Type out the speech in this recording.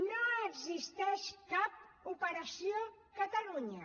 no existeix cap operació catalunya